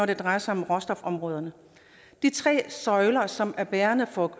det drejer sig om råstofområderne de tre søjler som er bærende for